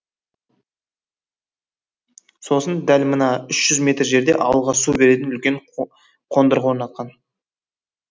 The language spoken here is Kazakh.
сосын дәл мына үш жүз метр жерде ауылға су беретін үлкен қондырғы орнатқан